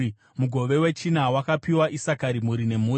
Mugove wechina wakapiwa Isakari, mhuri nemhuri.